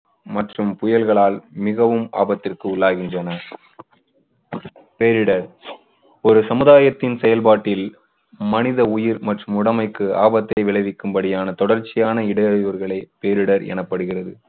மற்றும் புயல்களால் மிகவும் ஆபத்திற்கு உள்ளாகின்றனர். பேரிடர் ஒரு சமுதாயத்தின் செயல்பாட்டில் மனித உயிர் மற்றும் உடமைக்கு ஆபத்தை விளைவிக்கும்படியான தொடர்ச்சியான இடையூறுகளே பேரிடர் எனப்படுகிறது.